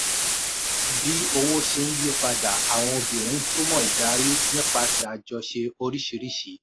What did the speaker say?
bí owó ṣe ń yí padà àwọn obìnrin ń túmọ̀ ìdarí nípasẹ̀ àjọṣe oríṣìíríṣìí.